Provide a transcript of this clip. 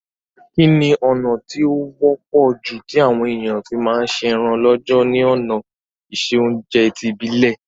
Kíni ọ̀nà ti o wọ́pọ̀ ju ti àwon èyàn fi ma se eran lọ́jọ̀ ni òná ìse ounje ti ìbílẹ́